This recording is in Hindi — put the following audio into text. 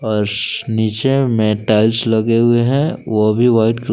अर्स नीचे में टाइल्स लगे हुए हैं वो भी व्हाइट कल--